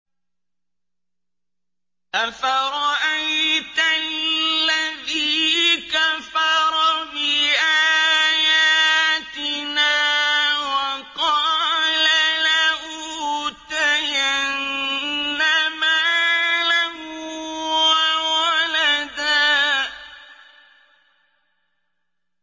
أَفَرَأَيْتَ الَّذِي كَفَرَ بِآيَاتِنَا وَقَالَ لَأُوتَيَنَّ مَالًا وَوَلَدًا